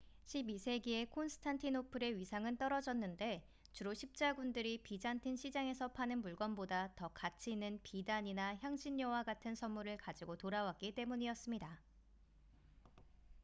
12세기에 콘스탄티노플의 위상은 떨어졌는데 주로 십자군들이 비잔틴 시장에서 파는 물건보다 더 가치 있는 비단이나 향신료와 같은 선물을 가지고 돌아왔기 때문이었습니다